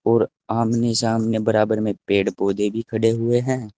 और आमने सामने बराबर में पेड़ पौधे भी खड़े हैं।